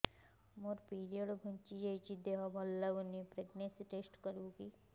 ମୋ ପିରିଅଡ଼ ଘୁଞ୍ଚି ଯାଇଛି ଦେହ ଭଲ ଲାଗୁନି ପ୍ରେଗ୍ନନ୍ସି ଟେଷ୍ଟ କରିବୁ କି